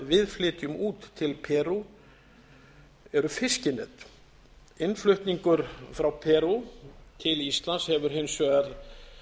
við flytjum út til perú eru fiskinet innflutningur frá perú til íslands hefur hins vegar